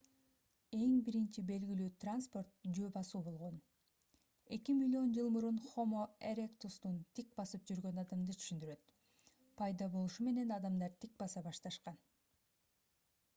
эң биринчи белгилүү транспорт жөө басуу болгон эки миллион жыл мурун хомо эректустун тик басып жүргөн адамды түшүндүрөт пайда болушу менен адамдар тик баса башташкан